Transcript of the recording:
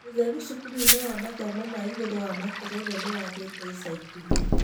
ũtheru cukuru-inĩ wa mathomo ma igũru wa Makerere nĩwagĩte ica ikuhĩ